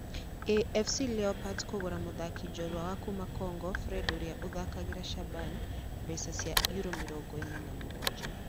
AFC Leopards kũgũra mũthaki njorua wa kuma Congo Fred ũrĩa ũthakagĩra Shaban mbeca cia Euro mĩrongo ĩna na mũgwanja.